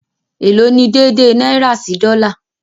Ẹ̀ló̀ ní dèèdèè náírà sí dọ́là?